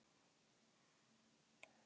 Finnrós, hvaða vikudagur er í dag?